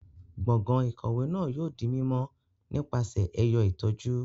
Gbọngan ikọwe náà yóò di mímọ nípasẹ ẹyọ itọju